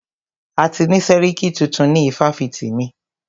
A ti ni sẹ́ríkí tuntun ni ifáfitì mí.